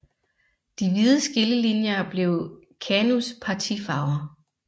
De hvide skillelinjer blev KANUs partifarver